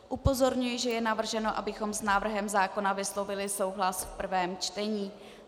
Upozorňuji, že je navrženo, abychom s návrhem zákona vyslovili souhlas v prvém čtení.